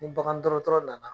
Ni bagan dɔrɔtɔrɔ nana